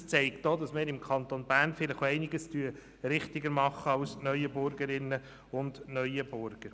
Das zeigt auch, dass wir im Kanton Bern vielleicht auch einiges richtiger machen als die Neuenburgerinnen und Neuenburger.